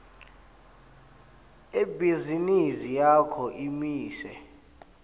ibhizinisi yakho imise